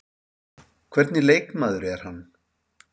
Hvernig leikmaður er hann?